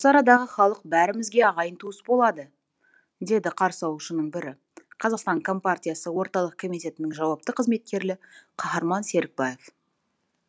осы арадағы халық бәрімізге ағайын туыс болады деді қарсы алушының бірі қазақстан компартиясы орталық комитетінің жауапты қызметкері қаһарман серікбаев